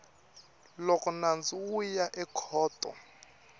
loko nandzu wu ya ekhoto